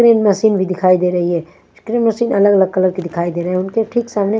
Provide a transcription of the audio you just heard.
crane machine भी दिखाई दे रही है क्रीन मशीन अलग अलग कलर कि दिखाई दे रहे उनके ठीक सामने--